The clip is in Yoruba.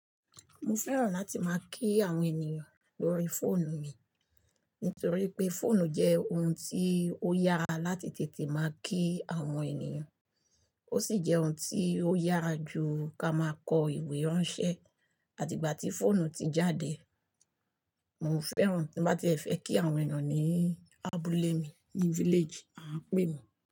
Mo fẹ́ràn láti máa kí àwọn ènìyàn lórí fóònù mi, nítorí pé fóònù jẹ́ ohun tí ó yára láti tètè máa kí àwọn ènìyàn, ó sì jẹ́ ohun tí ó yára jù ká máa kọ ìwé ránṣẹ́. Àti ìgbà tí fóònù ti jáde, mo fẹ́ràn tí màá ti e fẹ́ kí àwọn ènìyàn ní abúlé mi, ní village, à ń pè é.